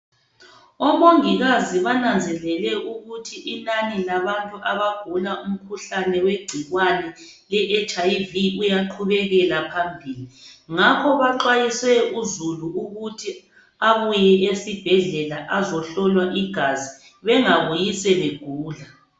Omongikazi bananzelele ukuthi inani labantu abagula umkhuhlane wegcikwane leHIV uyaqhubekela phambili ngakho baxwayise uzulu ukuthi abuye esibhedlela azohlolwa igazi bengabuyi sebegula.